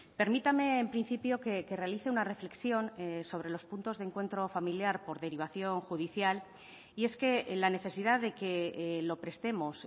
permítame en principio que realice una reflexión sobre los puntos de encuentro familiar por derivación judicial y es que la necesidad de que lo prestemos